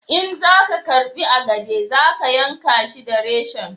in za ka girbi agade za ka yanka shi da reshen